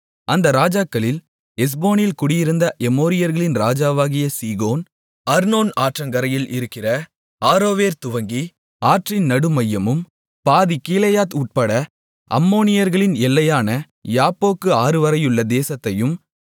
அந்த ராஜாக்களில் எஸ்போனில் குடியிருந்த எமோரியர்களின் ராஜாவாகிய சீகோன் அர்னோன் ஆற்றங்கரையில் இருக்கிற ஆரோவேர் துவங்கி ஆற்றின் நடுமையமும் பாதிக் கீலேயாத் உட்பட அம்மோனியர்களின் எல்லையான யாப்போக்கு ஆறுவரையுள்ள தேசத்தையும்